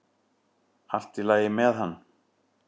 Allt í lagi með hann!